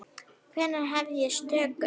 Hvenær hefjast tökur?